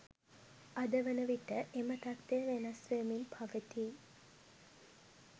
අද වන විට එම තත්ත්වය වෙනස් වෙමින් පවතී